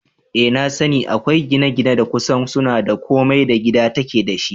Eh nasani, akwai gine-gine da kusan suna da komai da gida take dashi